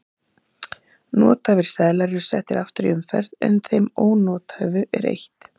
nothæfir seðlar eru settir aftur í umferð en þeim ónothæfu er eytt